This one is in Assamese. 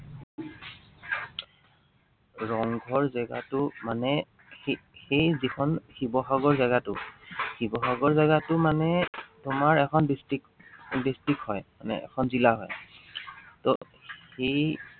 ৰংঘৰ জেগাটো মানে সেই, সেই যিখন শিৱসাগৰ জেগাটো। শিৱসাগৰ জেগাটো মানে তোমাৰ এখন district, district হয়। মানে এখন জিলা হয়। ত সেই